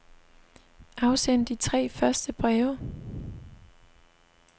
Afsend de tre første breve.